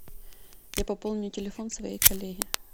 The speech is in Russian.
я пополню телефон своей коллеги